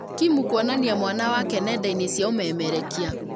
Kim kuonania mwana wake nenda-inĩ cia ũmemerekia